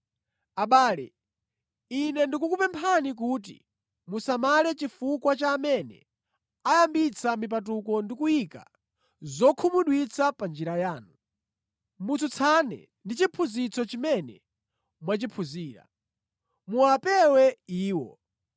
Abale, ine ndikukupemphani kuti musamale chifukwa cha amene ayambitsa mipatuko ndi kuyika zokhumudwitsa panjira yanu, motsutsana ndi chiphunzitso chimene mwachiphunzira. Muwapewe iwo.